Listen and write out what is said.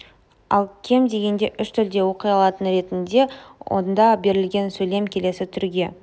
ал кем дегенде үш тілде оқи алатын ретінде онда берілген сөйлем келесі түрге